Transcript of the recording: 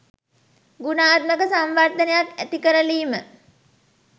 ගුණාත්මක සංවර්ධනයක් ඇතිකරලීම